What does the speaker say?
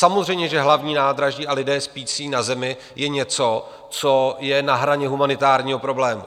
Samozřejmě že hlavní nádraží a lidé spící na zemi je něco, co je na hraně humanitárního problému.